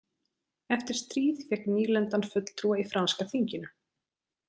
Eftir stríð fékk nýlendan fulltrúa í franska þinginu.